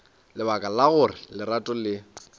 lebaka la gore lerato le